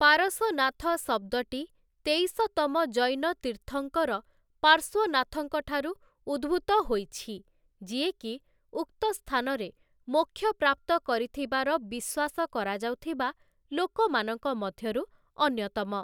ପାରସନାଥ ଶବ୍ଦଟି ତେଇଶ ତମ ଜୈନ ତୀର୍ଥଙ୍କର ପାର୍ଶ୍ୱନାଥଙ୍କ ଠାରୁ ଉଦ୍ଭୂତ ହୋଇଛି, ଯିଏକି ଉକ୍ତ ସ୍ଥାନରେ ମୋକ୍ଷ ପ୍ରାପ୍ତ କରିଥିବାର ବିଶ୍ୱାସ କରାଯାଉଥିବା ଲୋକମାନଙ୍କ ମଧ୍ୟରୁ ଅନ୍ୟତମ ।